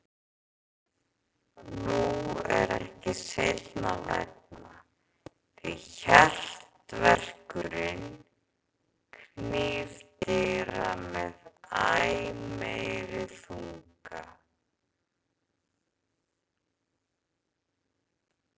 Nú er ekki seinna vænna, því HJARTAVERKURINN knýr dyra með æ meiri þunga.